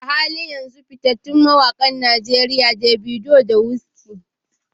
A halin yanzu, fitattun mawakan Najeriya Davido da Wizkid.